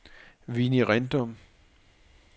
Vinnie Rindom